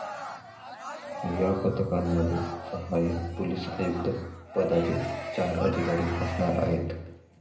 या पथकांमध्ये सहाय्यक पोलीस आयुक्त पदाचे चार अधिकारी असणार आहेत.